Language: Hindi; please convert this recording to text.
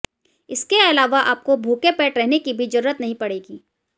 इसके अलावा आपको भूखे पेट रहने की भी जरूरत नहीं पड़ेगी